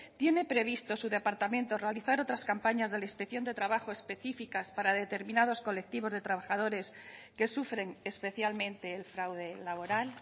tiene previsto su departamento realizar otras campañas de la inspección de trabajo específicas para determinados colectivos de trabajadores que sufren especialmente el fraude laboral